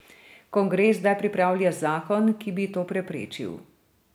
Kongres zdaj pripravlja zakon, ki bi to preprečil.